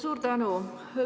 Suur tänu!